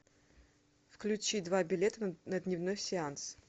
включи два билета на дневной сеанс